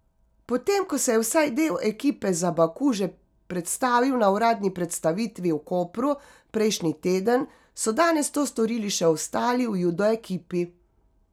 Potem ko se je vsaj del ekipe za Baku že predstavil na uradni predstavitvi v Kopru prejšnji teden, so danes to storili še ostali v judo ekipi.